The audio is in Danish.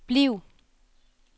bliv